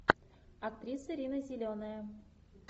актриса рина зеленая